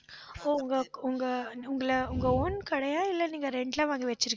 ஓ உங்க உங்க உங்களை உங்க own கடையா இல்லை நீங்க rent ல வாங்கி வச்சிருக்கீங்களா